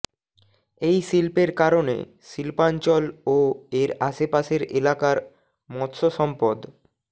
এই শিল্পের কারণে শিল্পাঞ্চল ও এর আশপাশের এলাকার মৎস্যসম্পদ